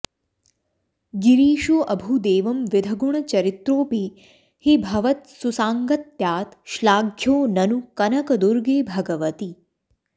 गिरीशोऽभूदेवंविधगुणचरित्रोऽपि हि भवत् सुसाङ्गत्यात् श्लाघ्यो ननु कनकदुर्गे भगवति